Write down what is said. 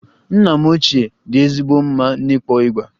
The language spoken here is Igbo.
Nna m ochie dị ezigbo mma n'ịkpọ igba